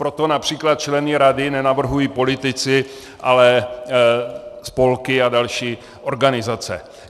Proto například členy rady nenavrhují politici, ale spolky a další organizace.